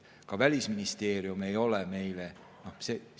Ka Välisministeerium ei ole meile.